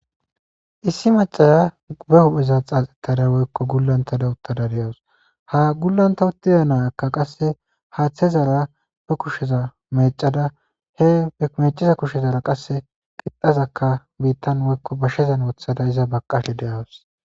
Issi macciya ba huphphe xaxettada woykko gulanttada uttada da'awusu ha gulanta uttida na'iyakka qasse haththezara be kushsheza meccada be mecida kushshezara qasse qixxaza bitan woyko bashshezan woththada iza baqqashe de'awusu.